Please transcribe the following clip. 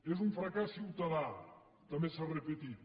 és un fracàs ciutadà també s’ha repetit